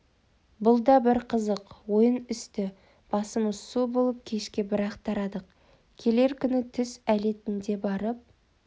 бұл да бір қызық ойын үсті-басымыз су болып кешке бір-ақ тарадық келер күні түс әлетінде барып